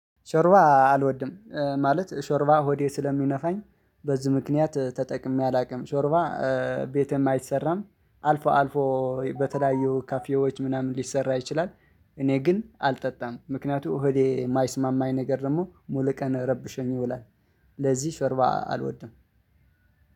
ሾርባ አልወድም ማለት ሾርባ ሆዴ ስለሚነፋኝ በዚህ ምክንያት ተጠቅሜ አላውቅም ሾርባ። ቤትም አይሰራም አልፎ አልፎ በተለያዩ ካፌዎች ምናምን ሊሰራ ይችላል። እኔ ግን አልጠጣም ምክንያቱም እሆዴ የማይስማማኝ ነገር ደግሞ ሙሉ ቀን ረብሸኝ ይውላል። ለዚህ ሽርባ አልወድም።